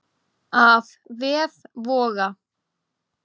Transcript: Af vef Voga